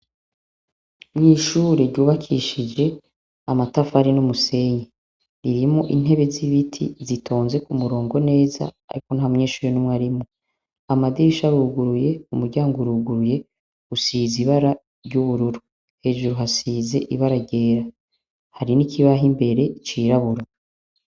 Mwishure ryubakishije amatafari n' umusenyi irimo intebe z'ibiti zitonze ku murongo neza, ariko nta mwenshure n'umwe arimwo amadisha aruguruye umuryango uruguruye usiza ibara ry'ubururu hejuru hasize ibara ryera hari n'ikibaho imbere ika yiraburo.